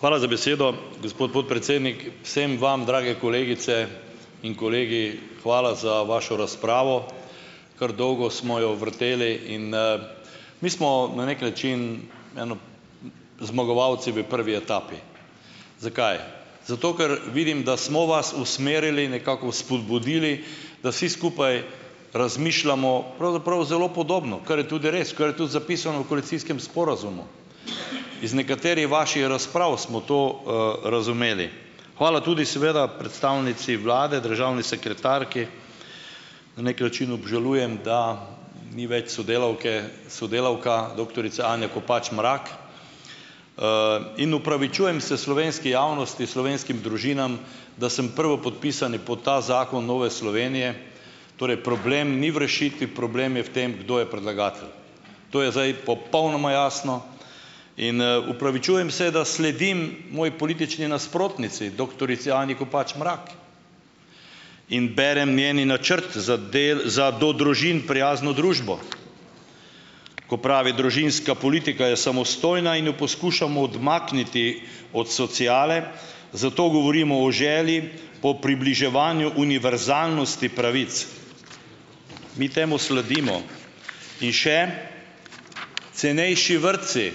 Hvala za besedo, gospod podpredsednik. Vsem vam, drage kolegice in kolegi, hvala za vašo razpravo. Kar dolgo smo jo vrteli in - mi smo na neki način eno zmagovalci v prvi etapi. Zakaj? Zato ker vidim, da smo vas usmerili, nekako spodbudili, da vsi skupaj razmišljamo pravzaprav zelo podobno. Kar je tudi res. Kar je tudi zapisano v koalicijskem sporazumu. Iz nekaterih vaših razprav smo to, razumeli. Hvala tudi seveda predstavnici vlade, državni sekretarki. Na neki način obžalujem, da ni več sodelavke, sodelavka doktorica Anja Kopač Mrak. in opravičujem se slovenski javnosti, slovenskim družinam, da sem prvopodpisani pod ta zakon Nove Slovenije. Torej problem ni v rešitvi, problem je v tem, kdo je predlagatelj. To je zdaj popolnoma jasno. In opravičujem se, da sledim moji politični nasprotnici, doktorici Anji Kopač Mrak. In berem njen načrt za za do družin prijazno družbo. Ko pravi: "Družinska politika je samostojna in jo poskušamo odmakniti od sociale, zato govorimo o želji po približevanju univerzalnosti pravic." Mi temu sledimo. In še - cenejši vrtci.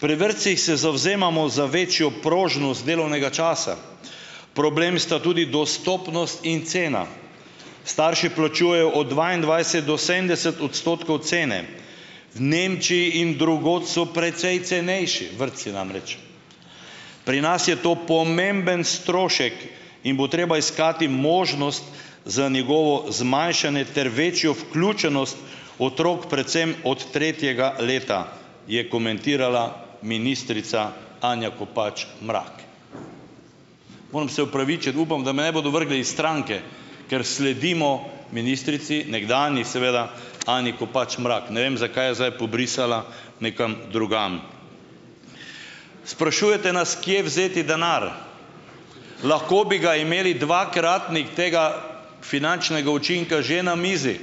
"Pri vrtcih se zavzemamo za večjo prožnost delovnega časa. Problem sta tudi dostopnost in cena. Starši plačujejo od dvaindvajset do sedemdeset odstotkov cene. V Nemčiji in drugod so precej cenejši." Vrtci, namreč. "Pri nas je to pomemben strošek in bo treba iskati možnost za njegovo zmanjšanje ter večjo vključenost otrok, predvsem od tretjega leta," je komentirala ministrica Anja Kopač Mrak. Moram se opravičiti - upam, da me ne bodo vrgli iz stranke - ker sledimo ministrici, nekdanji seveda, Anji Kopač Mrak. Ne vem, zakaj je zdaj pobrisala nekam drugam. Sprašujete nas, kje vzeti denar. Lahko bi ga imeli, dvakratnik tega finančnega učinka že na mizi.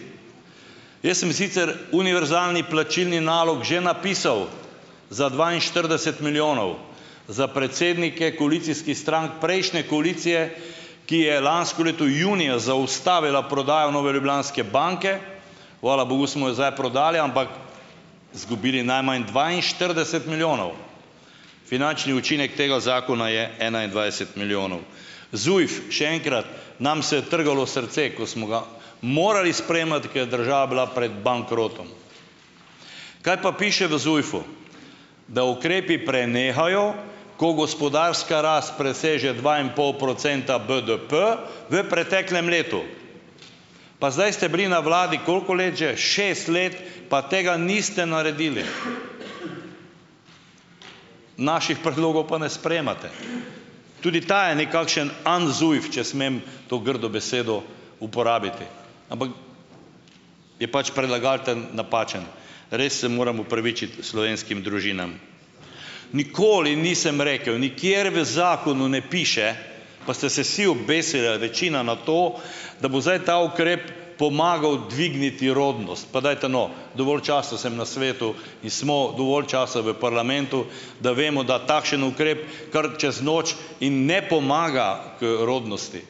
Jaz sem sicer univerzalni plačilni nalog že napisal. Za dvainštirideset milijonov. Za predsednike koalicijskih strank prejšnje koalicije, ki je lansko leto junija zaustavila prodajo Nove ljubljanske banke - hvala bogu smo jo zdaj prodali - ampak zgubili najmanj dvainštirideset milijonov. Finančni učinek tega zakona je enaindvajset milijonov. ZUJF, še enkrat - nam se je trgalo srce, ko smo ga morali sprejemati, ker je država bila pred bankrotom. Kaj pa piše v ZUJF-u? Da ukrepi prenehajo, ko gospodarska rast preseže dva in pol procenta BDP v preteklem letu. Pa zdaj ste bili na vladi koliko let že? Šest let, pa tega niste naredili. Naših predlogov pa ne sprejemate. Tudi ta je nekakšen "un-ZUJF", če smem to grdo besedo uporabiti. Ampak - je pač predlagatelj napačen. Res se moram opravičiti slovenskim družinam. Nikoli nisem rekel - nikjer v zakonu ne piše, pa ste se vsi obesili, ali večina, na to, da bo zdaj ta ukrep pomagal dvigniti rodnost. Pa dajte, no, dovolj časa sem na svetu in smo dovolj časa v parlamentu, da vemo, da takšen ukrep kar čez noč - in ne pomaga k rodnosti.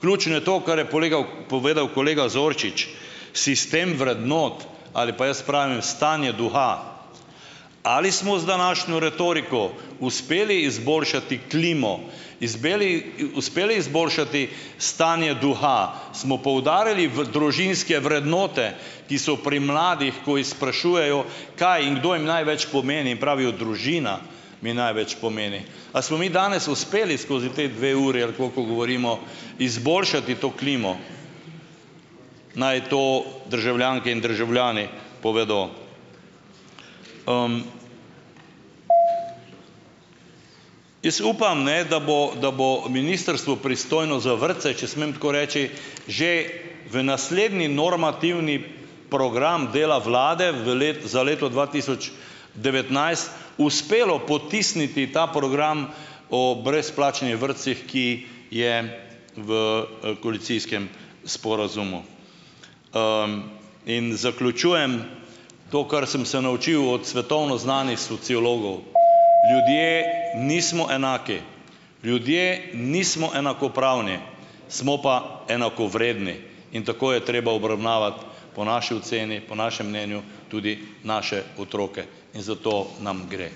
Ključno je to, kar je polegav povedal kolega Zorčič. Sistem vrednot - ali pa jaz pravim: stanje duha. Ali smo z današnjo retoriko uspeli izboljšati klimo? Izbeli, uspeli izboljšati stanje duha? Smo poudarjali v družinske vrednote, ki so pri mladih, ko jih sprašujejo, kaj in kdo jim največ pomeni, in pravijo: "Družina mi največ pomeni." A smo mi danes uspeli skozi te dve uri - ali koliko govorimo - izboljšati to klimo? Naj to državljanke in državljani povedo. Jaz upam, ne, da bo, da bo ministrstvo, pristojno za vrtce - če smem tako reči - že v naslednji normativni program dela vlade v za leto dva tisoč devetnajst uspelo potisniti ta program o brezplačnih vrtcih, ki je v koalicijskem sporazumu. in zaključujem - to, kar sem se naučil od svetovno znanih sociologov. Ljudje nismo enaki. Ljudje nismo enakopravni. Smo pa enakovredni. In tako je treba obravnavati, po naši oceni, po našem mnenju, tudi naše otroke. In za to nam gre.